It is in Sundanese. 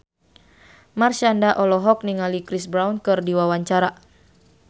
Marshanda olohok ningali Chris Brown keur diwawancara